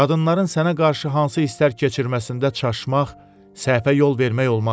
Qadınların sənə qarşı hansı hisslər keçirməsində çaşmaq, səhvə yol vermək olmaz.